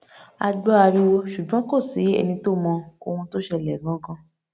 a gbọ ariwo ṣùgbọn kò sí ẹni tó mọ ohun tó ṣẹlẹ gangan